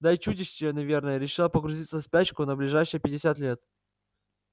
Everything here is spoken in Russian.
да и чудище наверное решило погрузиться в спячку на ближайшие пятьдесят лет